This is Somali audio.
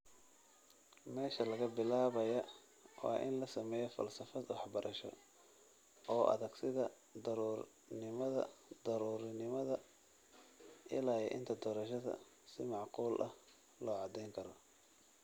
Meesha laga bilaabayaa waa in la sameeyo falsafad waxbarasho oo adag sida daruurinimada, ilaa iyo inta doorashada si macquul ah loo caddayn karo.